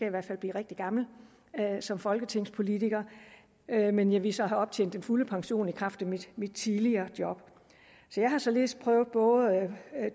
i hvert fald blive rigtig gammel som folketingspolitiker men jeg ville så have optjent den fulde pension i kraft af mit tidligere job så jeg har således prøvet både